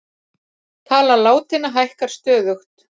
Tala látinna hækkar stöðugt